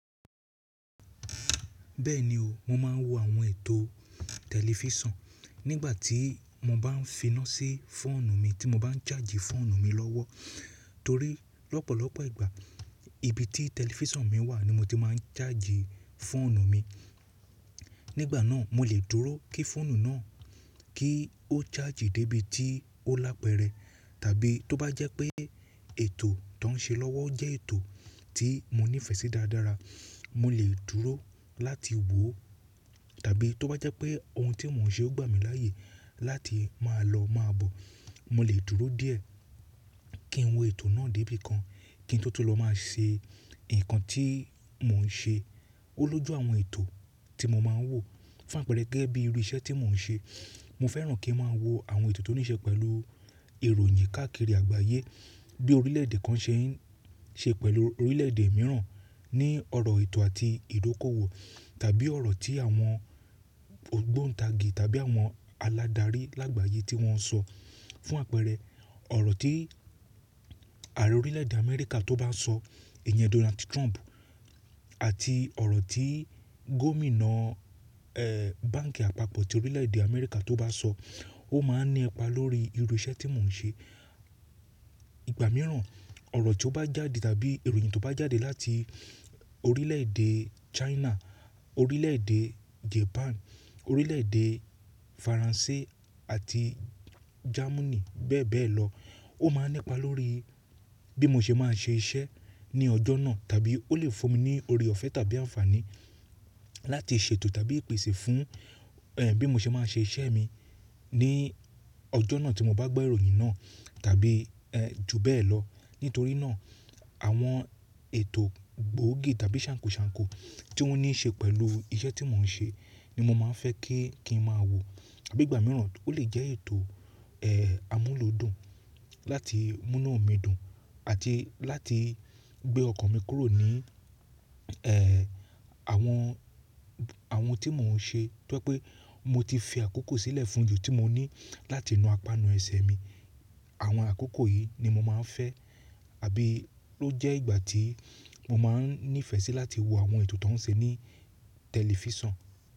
Bẹ́ẹ̀ni o, mo máa ń wo àwọn ètò tẹlifísàn nígbà tí mo bá ń fi iná sí fóònù mi tí mo bá ń charge fóònù mi lọ́wọ́. Torí lọ́pọ̀lọpọ̀ ìgbà ibi tí tẹlifísàn mi wà ni mo ti máa ń ṣájì fóònù mi. Nígbà náà mo lè dúró kí fóònù náà kí ó charge dé ibi tí ó lápẹ̀rẹ̀. Tàbí tó bá jẹ́ pé ètò tó ń ṣe lọ́wọ́ jẹ́ ètò tí mo nífẹ̀ẹ́ sí dáradára, mo lè dúró láti wò ó. Tàbí tó bá jẹ́ pé ohun tí mò ń ṣe ó gbà mí láyè láti máa lọ máa bọ̀, mo lè dúró díẹ̀ kí n wo ètò náà dé ibìkan kí n tótó lọ máa ṣe nǹkan tí mò ń ṣe. Ó lójú àwọn ètò tí mo máa ń wò fún àpẹẹrẹ gẹ́gẹ́ bí irú iṣẹ́ tí mò ń ṣe. Mo fẹ́ràn kí n máa wo àwọn ètò tó ní ṣe pẹ̀lú ìròyìn káàkiri àgbáyé bí orílẹ̀èdè kan ṣe ń ṣe pẹ̀lú orílẹ̀èdè mìíràn ní ọ̀rọ̀ ètò àti ìdókòwò tàbí ọ̀rọ̀ tí àwọn ògbóntàgì tàbí àwọn aládarí lágbàyé tí wọ́n sọ. Fún àpẹẹrẹ ọ̀rọ̀ tí ààrẹ orílẹ̀èdè Amẹ́ríkà tó bá sọ, èèyàn Donald Trump àti ọ̀rọ̀ tí gómìnà, ẹ́, báǹkì àpapọ̀ ti orílẹ̀èdè Amẹ́ríkà tó bá sọ ó máa ní ipa lórí irú iṣẹ́ tí mò ń ṣe. Ìgbà mìíràn ọ̀rọ̀ tí ó bá jáde tàbí ìròyìn tó bá jáde láti orílẹ̀èdè China, orílẹ̀èdè Japan, orílẹ̀èdè Faransé àti Jámánì bẹ́ẹ̀ bẹ́ẹ̀ lọ, ó máa ní ipa lórí bí mo ṣe máa ṣe iṣẹ́ ní ọjọ́ náà tàbí ó lè fún mi ní oore ọ̀fẹ́ tàbí àǹfààní láti ṣètò tàbí ìpèsè fún, ẹ́, bí mo ṣe máa ṣe iṣẹ́ mi ní ọjọ́ náà tí mo bá gbọ́ ìròyìn náà tàbí, ẹ́, ju bẹ́ẹ̀ lọ. Nítorí náà àwọn ètò gbóògì tàbí ṣàǹkoṣàǹko tí wọ́n ní ṣe pẹ̀lú iṣẹ́ tí mò ń ṣe ni mo máa ń fẹ́ kí, kí n máa wò. Àbí ìgbà mìíràn ó lè jẹ́ ètò, ẹ́, amúlòdùn láti mú iná mi dùn àti láti gbé ọkàn mi kúrò ní, ẹ́, àwọn, àwọn tí mò ń ṣe tó pé pé mo ti fi àkókò sílẹ̀ fún ju tí mo ní láti nu apanu ẹsẹ̀ mi. Àwọn àkókò yìí ni mo máa ń fẹ́ abí ló jẹ́ ìgbà tí mo máa ń nífẹ̀ẹ́ sí láti wo àwọn ètò tó ń ṣe ní tẹlifísàn.